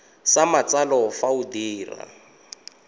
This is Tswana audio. sa matsalo fa o dira